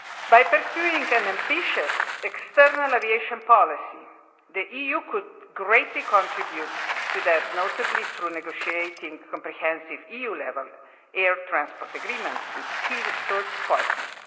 By pursuing an ambitious external aviation policy, the EU could greatly contribute to that, notably through negotiating comprehensive EU level air transport agreements with key third partners.